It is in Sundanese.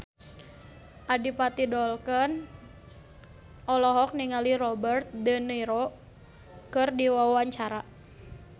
Adipati Dolken olohok ningali Robert de Niro keur diwawancara